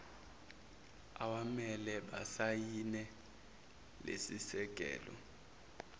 awamele basayine lesisekelo